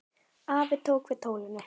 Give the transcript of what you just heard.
Afi tók við tólinu.